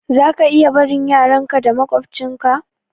Zaka iya barin yaran ka da maƙwabtcin ka